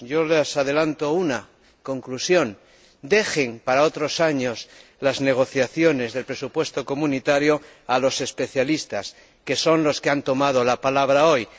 Yo les adelanto una conclusión dejen para otros años las negociaciones del presupuesto comunitario a los especialistas, que son los que han tomado la palabra hoy.